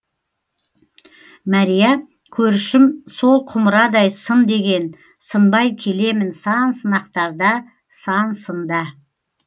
мәрия көршім сол құмырадай сын деген сынбай келемін сан сынақтарда сан сында